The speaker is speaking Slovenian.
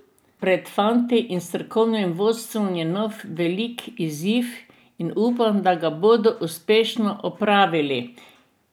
Pred fanti in strokovnim vodstvom je nov velik izziv in upam, da ga bodo uspešno opravili.